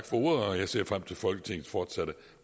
for ordet og jeg ser frem til folketingets fortsatte